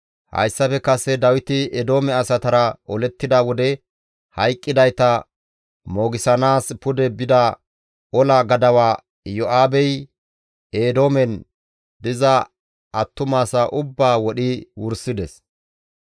Hayssafe kase Dawiti Eedoome asatara olettida wode hayqqidayta moogissanaas pude bida ola gadawa Iyo7aabey, Eedoomen diza attumasaa ubbaa wodhi wursides.